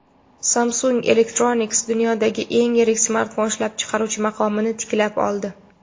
Samsung Electronics dunyodagi eng yirik smartfon ishlab chiqaruvchi maqomini tiklab oldi.